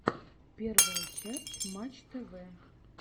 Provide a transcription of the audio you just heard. первая часть матч тв